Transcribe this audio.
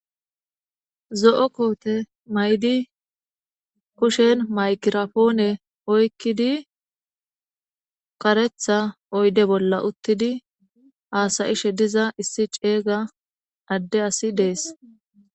zo7o koote maydi kushen maykirapoone oykkidi karetha oyde bolla uttidi haasayishe diza issi ceeyga adde asi dees